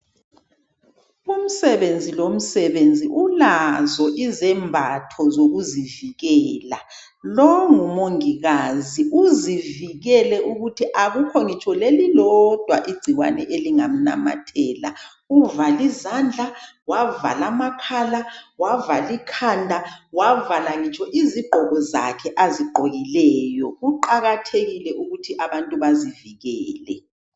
umsebenzi lomsebenzi ulazo izembatho zokuzivikela lo ngumongikazi uzivikele ukuthi akukho ngitsho lelilodwa igcikwane elingamnamathela uvale izandla wavala amakhala wavala ikhanda wavala ngitsho izigqoko zakhe azigqokileyo kuqakathekile ukuthi abantu bazivikele